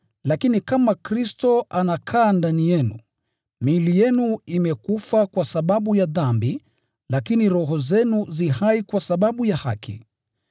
Lakini kama Kristo anakaa ndani yenu, miili yenu imekufa kwa sababu ya dhambi, lakini roho zenu zi hai kwa sababu ya haki.